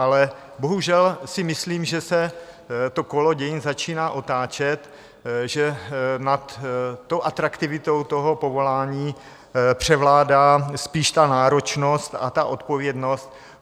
Ale bohužel si myslím, že se to kolo dění začíná otáčet, že nad tou atraktivitou toho povolání převládá spíš ta náročnost a ta odpovědnost.